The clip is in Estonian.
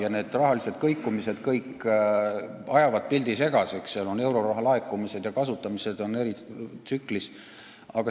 Aga need rahalised kõikumised ajavad pildi segaseks, euroraha laekumine ja kasutamine on eri tsükliga.